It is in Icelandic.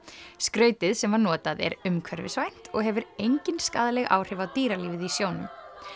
skrautið sem var notað er umhverfisvænt og hefur engin skaðleg áhrif á dýralífið í sjónum